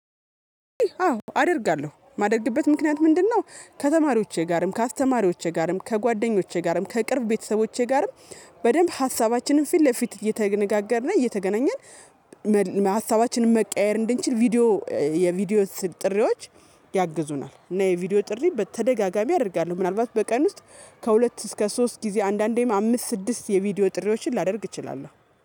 አዎ አደርጋለሁ ማደርግበት ምክንያት ምንድነው ከተማሪዎቼ ጋርም፣ ከአስተማሪዎቼ ጋርም ከጓደኞቼ ጋርም፣ ከቅርብ ቤተሰቦቼ ጋርም፣ በደንብ ሀሳባችንን ፊት ለፊት እየተነጋገርን እየተገናኘን ሀሳባችንን መቀያየር እንድንችል ቪዲዮ የቪዲዮ ጥሪዎች ያግዙናል እና የቪዲዮ ጥሪ በተደጋጋሚ አደርጋለሁ ምናልባት በቀን ውስጥ ከሁለት እስከ ሶስት ጊዜ አንዳንዴም አምስት ስድስት የቪዲዮ ጥሪዎችን ላደርግ እችላለሁ።